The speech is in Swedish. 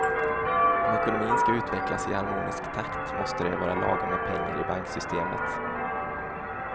Om ekonomin ska utvecklas i harmonisk takt måste det vara lagom med pengar i banksystemet.